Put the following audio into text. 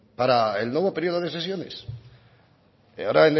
para el nuevo periodo de sesiones ahora